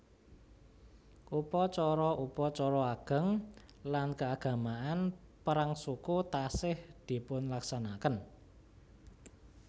Upacara upacara ageng lan keagamaan perang suku taksih dipunlaksanakaken